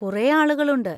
കുറെ ആളുകളുണ്ട്.